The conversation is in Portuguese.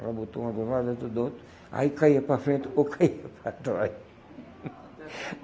Ela botou uma do lado outra do outro, aí caía para frente ou caía para trás.